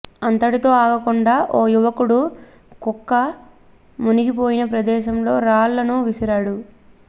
అంతటితో ఆగకుండా ఓ యువకుడు కుక్క మునిగిపోయిన ప్రదేశంలో రాళ్లను విసిరాడు